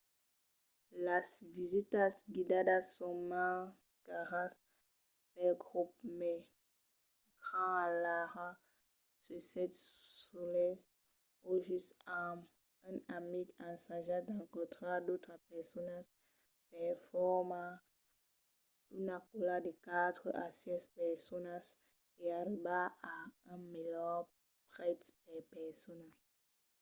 las visitas guidadas son mens caras pels grops mai grands alara se sètz solet o just amb un amic ensajatz d’encontrar d’autras personas per formar una còla de quatre a sièis personas e arribar a un melhor prètz per persona